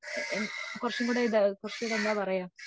കുറച്ചും കൂടെ ഇതാവും കുറച്ചും കൂടെ എന്താ പറയാ